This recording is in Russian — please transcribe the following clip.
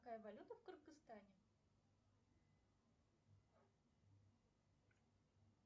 какая валюта в кыргызстане